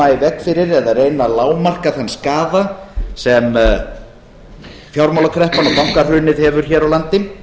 veg fyrir eða að reyna að lágmarka þann skaða sem fjármálakreppan og bankahrunið hefur hér á landi